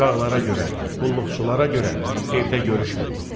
Uşaqlara görə, qulluqçulara görə evdə görüşmürük.